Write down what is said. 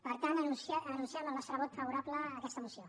per tant anunciem el nostre vot favorable a aquesta moció